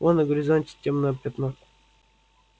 вон на горизонте тёмное пятно